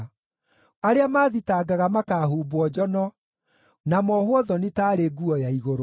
Arĩa maathitangaga makaahumbwo njono na mohwo thoni taarĩ nguo ya igũrũ.